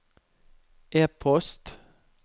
e-post